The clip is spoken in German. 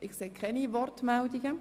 – Ich sehe keine Wortmeldungen.